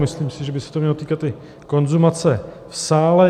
Myslím si, že by se to mělo týkat i konzumace v sále.